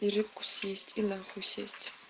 перекусить и нахуй сесть